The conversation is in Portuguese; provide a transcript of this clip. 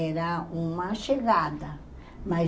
Era uma chegada, mas